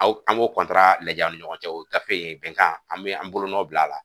Aw an m'o lajɛ an ni ɲɔgɔncɛ o gafe bɛnkan an mi an bolonɔ bila a la